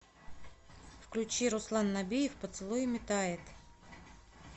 включи руслан набиев поцелуями тает